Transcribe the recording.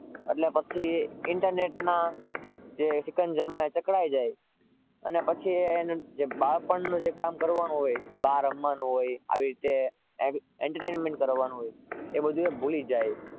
એટલે પછી internet ના સીકંજા માં જકડાઈ જાય પછી બાળ પણ માં જે કામ કરવાનું હોય તે બહાર રમવાનું હોય આવી રીતે entertainment કરવાનું હોય તે એ ભૂલી જાય